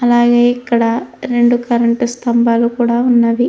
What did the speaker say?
అలాగే ఇక్కడ రెండు కరెంటు స్తంభాలు కూడా ఉన్నవి.